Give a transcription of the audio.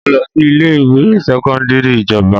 Mo lọ sí ilé ìwé sẹ́kọ́ńdírì ìjọba.